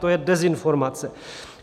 To je dezinformace.